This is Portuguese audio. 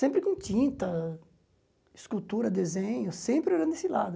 Sempre com tinta, escultura, desenho, sempre olhando esse lado.